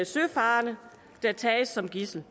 søfarende der tages som gidsel